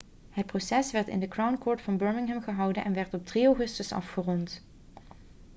het proces werd in de crown court van birmingham gehouden en werd op 3 augustus afgerond